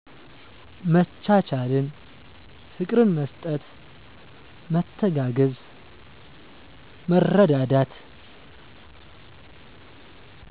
መቻቻልን፣ ፍቅር መስጠት፣ መተጋገዝ፣ መረዳዳት።